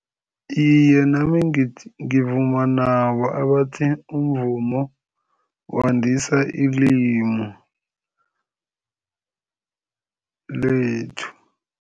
Iye, nami ngivuma nabo abathi umvumo wandisa ilimu lethu.